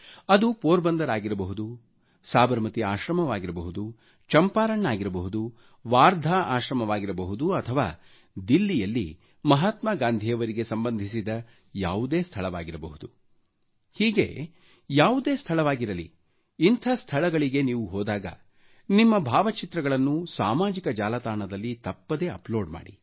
ಅದು ಪೋರ್ ಬಂದರ್ ಆಗಿರಬಹುದು ಸಾಬರಮತಿ ಆಶ್ರಮವಾಗಿರಬಹುದು ಚಂಪಾರಣ್ ಆಗಿರಬಹುದು ವಾರ್ಧಾ ಆಶ್ರಮವಾಗಿರಬಹುದು ಅಥವಾ ದಿಲ್ಲಿಯಲ್ಲಿ ಮಾಹಾತ್ಮಾ ಗಾಂಧಿಯವರಿಗೆ ಸಂಬಂಧಿಸಿದ ಯಾವುದೇ ಸ್ಥಳವಾಗಿರಬಹುದು ಹೀಗೆ ಯಾವುದೇ ಸ್ಥಳವಾಗಿರಲಿ ಇಂಥ ಸ್ಥಳಗಳಿಗೆ ನೀವು ಹೋದಾಗ ನಿಮ್ಮ ಭಾವಚಿತ್ರಗಳನ್ನು ಸಾಮಾಜಿಕ ಜಾಲತಾಣದಲ್ಲಿ ತಪ್ಪದೇ ಅಪ್ಲೋಡ್ ಮಾಡಿ